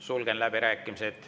Sulgen läbirääkimised.